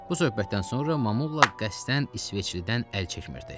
Bu söhbətdən sonra Mamulla qəsdən isveçlidən əl çəkmirdi.